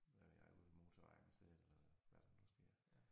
Hvad ved jeg ude ved motorvejen et sted eller hvad der nu sker